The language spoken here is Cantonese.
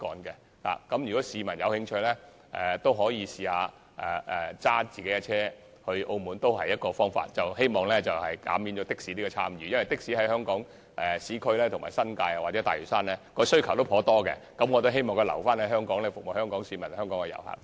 如果市民有興趣，亦可以自駕前往澳門，這也是避免乘坐的士的一個方法，因為的士在香港市區、新界或大嶼山的需求頗大，我希望把的士留在香港，服務香港市民和遊客。